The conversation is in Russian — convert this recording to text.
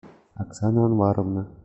оксана анваровна